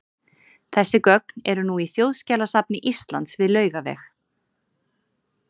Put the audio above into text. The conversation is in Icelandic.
þessi gögn eru nú í þjóðskjalasafni íslands við laugaveg